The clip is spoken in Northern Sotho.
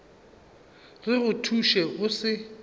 re go thuše o se